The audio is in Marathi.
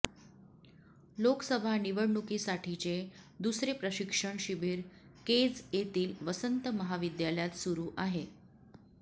लोकसभा निवडणुकीसाठीचे दुसरे प्रशिक्षण शिबीर केज येथील वसंत महाविद्यालयात सुरू आहे